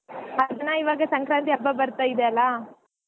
ಆಯ್ತಣ್ಣ ಇವಾಗ ಸಂಕ್ರಾಂತಿ ಹಬ್ಬಾ ಬತ್ರಾ ಇದೆ ಅಲ್ಲಾ.